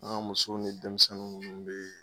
An ga muso ni denmisɛnnin nunnu be yen